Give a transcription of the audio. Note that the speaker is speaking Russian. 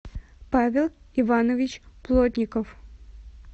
павел иванович плотников